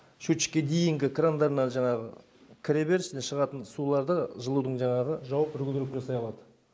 счетчикке дейінгі крандарынан жаңағы кіреберіс міне шығатын суларды жылудың жаңағы жауып регулировка жасай алады